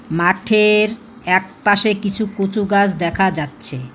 মাঠের একপাশে কিছু কচু গাছ দেখা যাচ্ছে।